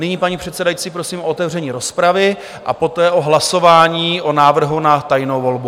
Nyní, paní předsedající, prosím o otevření rozpravy a poté o hlasování o návrhu na tajnou volbu.